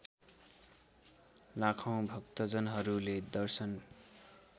लाखौँ भक्तजनहरूले दर्शन